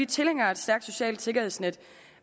tilhængere af et stærkt socialt sikkerhedsnet